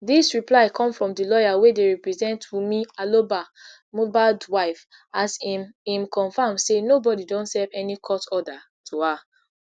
dis reply come from di lawyer wey dey represent wunmi aloba mohbad wife as im im confam say nobody don serve any court order to her